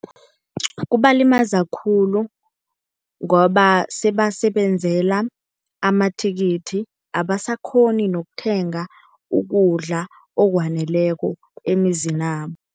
Kubalimaza khulu, ngoba sebasebenzela amathikithi abasakghoni nokuthenga ukudla okwaneleko emizinabo.